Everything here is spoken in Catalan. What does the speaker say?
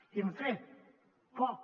i hem fet poc